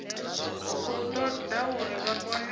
khou ḓa uri vha kone